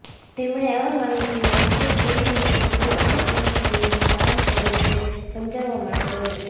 તેમણે આ માહિતીનો ઉપયોગ કેવી રીતે કુદરતી પસંદગીનું કામ કર્યું તે સમજાવવા માટે કર્યું છે